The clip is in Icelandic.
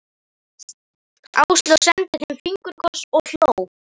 Áslaug sendi þeim fingurkoss og hló.